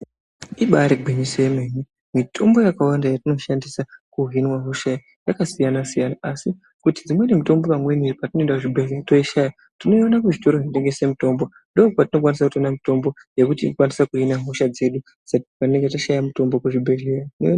Ibari gwinyiso yemene mitombo yakawanda yetinoshandiswa kuhinwa hosha yakasiyana siyana asi kuti dzimweni mitombo patinoenda kuzvibhehleya tinoishaya. Tinoione kuzvitoro zvinotengese mitombo ndokwatinokwanisa kutoona mutombo yekuti ikwanise kuhina hosha dzedu patinenge tashaya mitombo kuzvibhehlera.